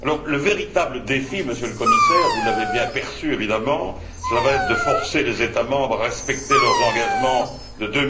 Le véritable défi, Monsieur le Commissaire, vous l'avez bien perçu, évidemment, cela va être de forcer les États membres à respecter leurs engagements de